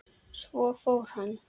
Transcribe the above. Svo fór hann.